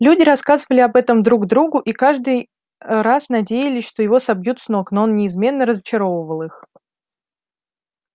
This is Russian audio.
люди рассказывали об этом друг другу и каждый раз надеялись что его собьют с ног но он неизменно разочаровывал их